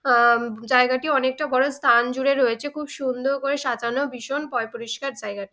আ-ম জায়গাটি অনেকটা বড়ো স্থান জুড়ে রয়েছে খুব সুন্দর করে সাজানো ভীষণ পয় পরিষ্কার জায়গাটি।